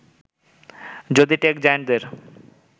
যদি টেক জায়ান্টের